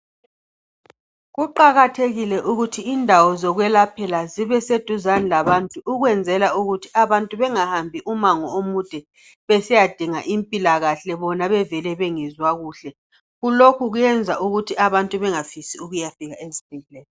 Kuqakathekile ukuthi indawo zokwelaphela zibe seduzane labantu ukwenzelwa ukuthi abantu bengahambi umango omude besiyadinga impilakahle bona bevele bengezwa kuhle kulokhu kwenza ukuthi abantu bengafisi ukuyafika esibhedlela.